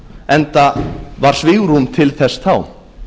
enda var svigrúm til þess þá